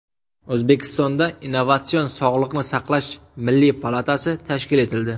O‘zbekistonda Innovatsion sog‘liqni saqlash milliy palatasi tashkil etildi.